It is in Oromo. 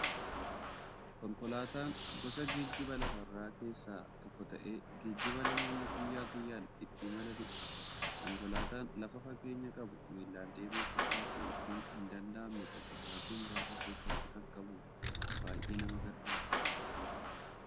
Konkolaataan gosa geejjiba lafarraa keessaa tokko ta'ee, geejjiba namoonni guyyaa guyyaan ittiin imalaniidha. Konkolaataan lafa fageenya qabu, miillan deemuuf ulfaatu yookiin hin danda'amne tokko sa'aatii muraasa keessatti qaqqabuuf baay'ee nama gargaara.